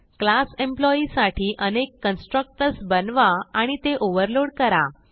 class employee साठी अनेक constructors बनवा आणि ते ओव्हरलोड करा